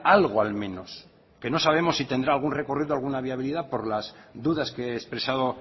algo al menos que no sabemos si tendrá algún recorrido alguna viabilidad por las dudas que he expresado